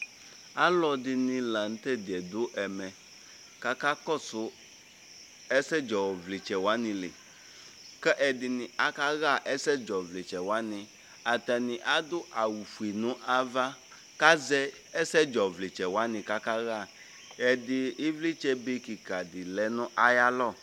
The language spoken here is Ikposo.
alɔ dini la nu tɛ diɛ du ɛmɛ kak kɔsu ɛsɛ dzɔ vlitsɛ wʋani li ka ɛdini aka ɣa ɛsɛ dzɔ vlitsɛ wʋani, ata ni adu awu fue nu ava ku azɛ ɛsɛ dzɔ vlitsɛ wʋani kaka ma , ɛdi, ivlitsɛ be kika di lɛ nu ayalɔ